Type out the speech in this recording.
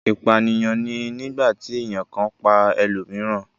ipaniyan ni nigbati èyán kan pá elomiiran.